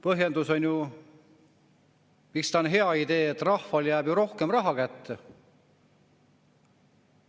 Põhjendus, miks see on hea idee: rahvale jääb ju rohkem raha kätte.